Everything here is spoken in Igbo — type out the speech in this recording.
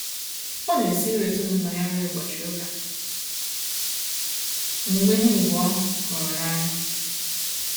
Ọ na esiri ezinaụlọ ya nri ụbọchị ụka, omume ha abụọ hụrụ n'anya